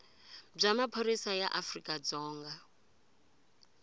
bya maphorisa ya afrika dzonga